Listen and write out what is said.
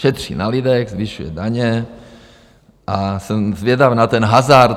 Šetří na lidech, zvyšuje daně a jsem zvědavý na ten hazard.